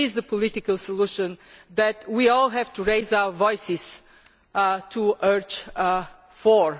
better. It is the political solution that we all have to raise our voices to urge